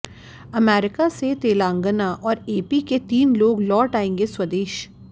America से तेलंगाना और AP के तीन लोग लौट आएंगे स्वदेश